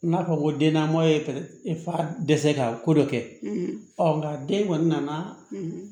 N'a fɔ ko dennama ye e fa dɛsɛ ka ko dɔ kɛ nka den kɔni nana